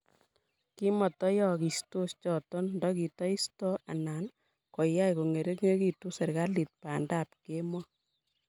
kitamayagistos choto ndakitaistoi anan kogay kongeringitu serikalit bandab kemboi